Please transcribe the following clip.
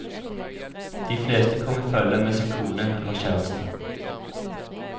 De fleste kom i følge med sin kone eller kjæreste.